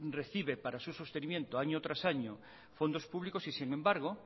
recibe para su sostenimiento año tras año fondos públicos y sin embargo